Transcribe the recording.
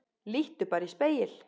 Líttu bara í spegil.